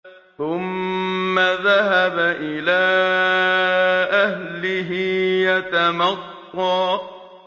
ثُمَّ ذَهَبَ إِلَىٰ أَهْلِهِ يَتَمَطَّىٰ